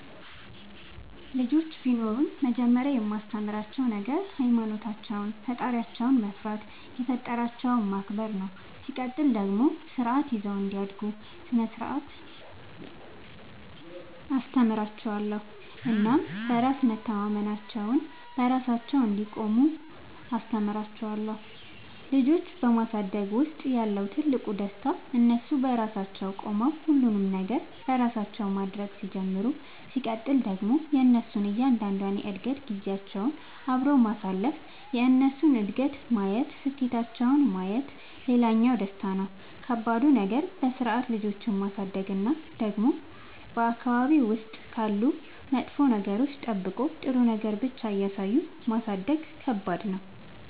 ልጆች ቢኖሩኝ መጀመሪያ የማስተምራቸዉ ነገር ሃይማኖታቸውን ፈጣሪያቸውን መፍራት የፈጠራቸውን ማክበር ነው ሲቀጥል ደግሞ ስርዓት ይዘው እንዲያድጉ ስነ ስርዓት አስተምራችኋለሁ እናም በራስ መተማመናቸውን, በራሳቸው እንዲቆሙ አስተምራቸዋለሁ። ልጆች በማሳደግ ውስጥ ያለው ትልቁ ደስታ እነሱ በራሳቸው ቆመው ሁሉንም ነገር በራሳቸው ማድረግ ሲጀምሩ ሲቀጥል ደግሞ የእነሱን እያንዳንዷን የእድገት ጊዜያቸውን አብሮ ማሳለፍ የእነሱን እድገት ማየት ስኬታቸውን ማየት ሌላኛው ደስታ ነው። ከባዱ ነገር በስርዓት ልጆችን ማሳደግ እና ደግሞ በአካባቢ ውስጥ ካሉ መጥፎ ነገሮች ጠብቆ ጥሩ ነገር ብቻ እያሳዩ ማሳደግ ከባድ ነው።